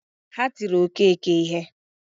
Ha tiri Okeke ihe